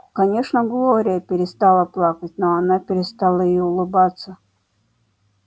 конечно глория перестала плакать но она перестала и улыбаться